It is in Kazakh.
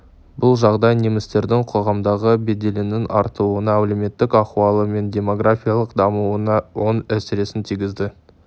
бұл жағдай немістердің қоғамдағы беделінің артуына әлеуметтік ахуалы мен демографиялық дамуына оң әсерін тигізді